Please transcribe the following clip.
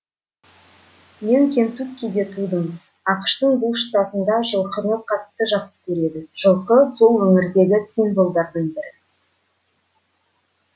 мен кентуккиде тудым ақш тың бұл штатында жылқыны қатты жақсы көреді жылқы сол өңірдегі символдардың бірі